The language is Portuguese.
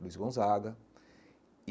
Luiz Gonzaga.